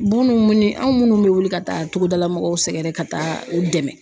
Munnu mini anw munnu bɛ wuli ka taa togodala mɔgɔw sɛgɛrɛ ka taa u dɛmɛ.